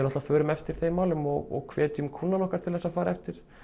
förum eftir þeim málum og hvetjum kúnnana okkar til að fara eftir